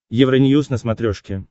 евроньюз на смотрешке